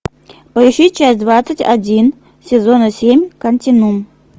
поищи часть двадцать один сезона семь континуум